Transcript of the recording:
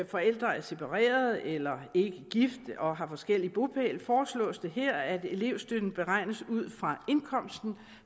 forældre er separeret eller ikke gift og har forskellig bopæl foreslås det her at elevstøtten beregnes ud fra indkomsten